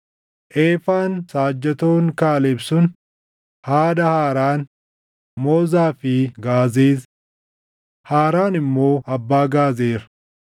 Eefaan saajjatoon Kaaleb sun haadha Haaraan, Moozaa fi Gaazeez. Haaraan immoo abbaa Gaazer.